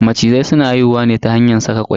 Macizai suna haihuwa ne ta hanyar saka kwai.